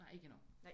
Nej ikke endnu